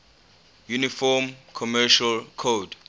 uniform commercial code